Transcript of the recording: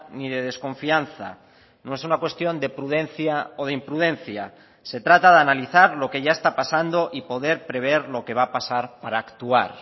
ni de desconfianza no es una cuestión de prudencia o de imprudencia se trata de analizar lo que ya está pasando y poder prever lo que va a pasar para actuar